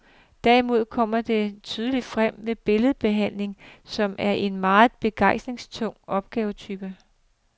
Derimod kommer det tydeligt frem ved billedbehandling, som er en meget beregningstung opgavetype.